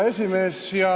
Hea esimees!